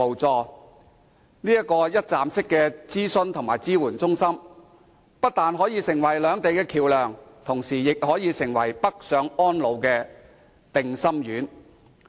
這個一站式的諮詢及支援中心不但可成為兩地的橋樑，而且，亦可成為港人北上安老的定心丸。